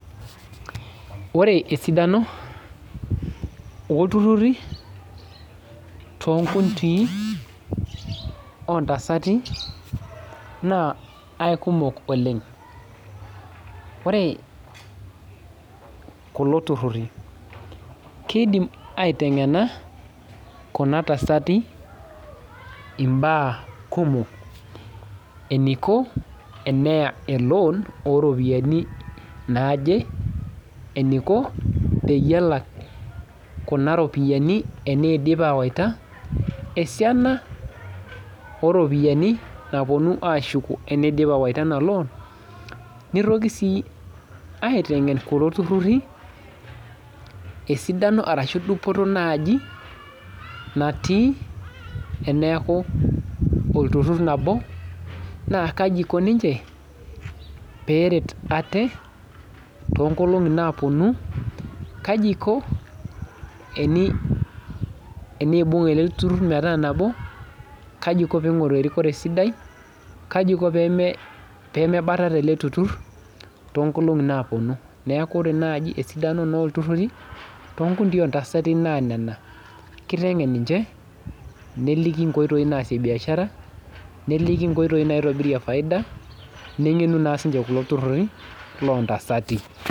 Ore esidano oltururi toonkaoitoi ontasati naa aikumok oleng, ore kulo tururi keidim aitengena Kuna tasati mbaa kumok eniko teneya loon ooropiyiani naaje ,eniko tenelak kuna ropiyiani teneidip awaita ,esiaina oropiyiani naashuku teneidip awaita ena loon ,nitoki sii aitengen kulo tururi dupoto ashu esidano naaji natii teneeku olturur nabo naaa kaji eikoni ninche pee eret aate toonkolongi naaponu ,kaji eikoni tenibung ele turur metaa nabo ,kaji eikoni pee eingoru erikore sidai ,kaji eikoni pee mebatata ele turur toonkolongi naaponu, neeku naaji esidano naa olturur toonkutii oontasati naa nena ,kitengen ninche nelikini nkoitoi naasie biashara nelikini nkoitoi naitobirie faida nengenu naa siininche kulo tururi loontasati.